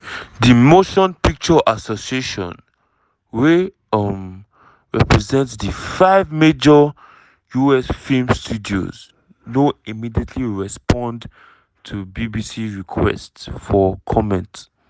di motion picture association wey um represent di five major us film studios no immediately respond to bbc requests for comment.